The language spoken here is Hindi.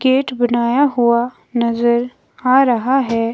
गेट बनाया हुआ नजर आ रहा है।